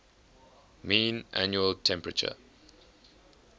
mean annual temperature